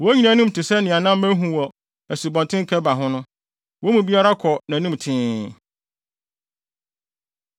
Wɔn nyinaa anim te sɛ nea na mahu wɔ Asubɔnten Kebar ho no. Wɔn mu biara kɔ nʼanim tee.